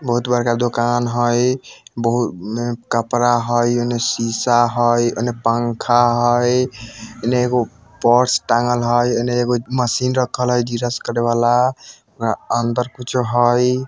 बहुत बड़का दोकान हई बहु कपरा हई एने सीसा हई एने पँखा हई एने एगो पर्स टांगेल हई एने एगो मशीन रखल हई करने वाला अंदर कुछो हई।